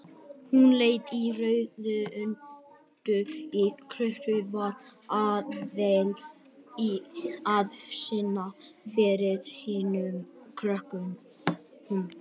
Hún lét í raun undan þrýstingi, var aðallega að sýnast fyrir hinum krökkunum.